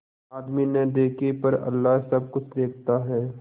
आदमी न देखे पर अल्लाह सब कुछ देखता है